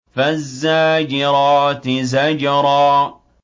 فَالزَّاجِرَاتِ زَجْرًا